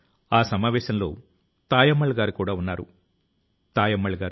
తన సొంత పుస్తకాల తో గ్రంథాలయాన్ని మొదలుపెట్టారు